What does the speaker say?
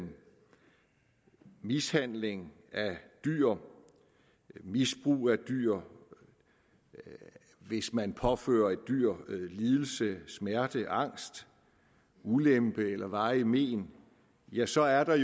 mishandling af dyr misbrug af dyr hvis man påfører et dyr lidelse smerte angst og ulempe eller varige men ja så er der